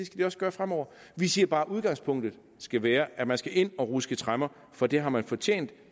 de også gøre fremover vi siger bare at udgangspunktet skal være at man skal ind at ruske tremmer for det har man fortjent